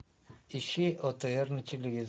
ищи отр на телевизоре